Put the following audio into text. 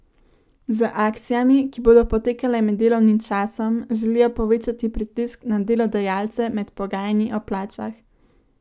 Z akcijami, ki bodo potekale med delovnim časom, želijo povečati pritisk na delodajalce med pogajanji o plačah.